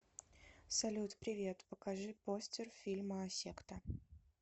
салют привет покажи постер фильма секта